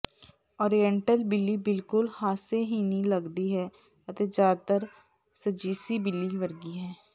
oriental ਬਿੱਲੀ ਬਿਲਕੁਲ ਹਾਸੇਹੀਣੀ ਲੱਗਦੀ ਹੈ ਅਤੇ ਜ਼ਿਆਦਾਤਰ ਸੱਜੀਸੀ ਬਿੱਲੀ ਵਰਗੀ ਹੈ